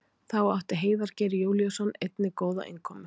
Þá átti Heiðar Geir Júlíusson einnig góða innkomu.